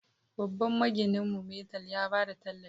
Babban magininmu, Metal, ya ba da tallafi